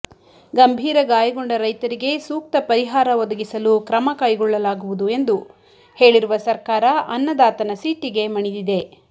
ಗಂಭೀರ ಗಾಯಗೊಂಡ ರೈತರಿಗೆ ಸೂಕ್ತ ಪರಿಹಾರ ಒದಗಿಸಲು ಕ್ರಮ ಕೈಗೊಳ್ಳಲಾಗುವುದು ಎಂದು ಹೇಳಿರುವ ಸರ್ಕಾರ ಅನ್ನದಾತನ ಸಿಟ್ಟಿಗೆ ಮಣಿದಿದೆ